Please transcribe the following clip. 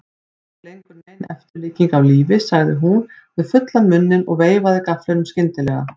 Ekki lengur nein eftirlíking af lífi, sagði hún með fullan munninn og veifaði gafflinum skyndilega.